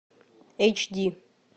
эйч ди